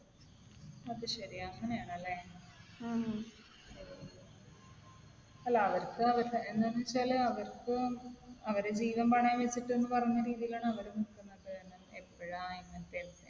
അത് ശരി. അങ്ങനെയാണല്ലേ. അല്ല. അവർക്ക് അവരുടെ എന്താണെന്ന് വെച്ചാൽ അവർക്കും അവരുടെ ജീവൻ പണയം വെച്ചിട്ട് എന്ന് പറയുന്ന രീതിയിലാണ് അവർ നിക്കുന്നത്. എപ്പോഴാണ് ഇങ്ങനത്തെ